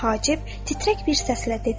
Hacib titrək bir səslə dedi.